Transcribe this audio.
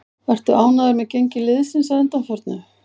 Ertu ánægður með gengi liðsins að undanförnu?